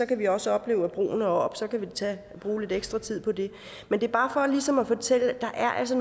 kan vi også opleve at broen er oppe og så kan vi bruge lidt ekstra tid på det men det er bare for ligesom at fortælle at der altså